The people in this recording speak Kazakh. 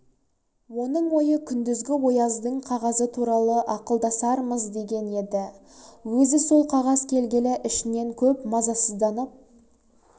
оның ойы күндізгі ояздың қағазы туралы ақылдасармыз деген еді өзі сол қағаз келгелі ішінен көп мазасызданып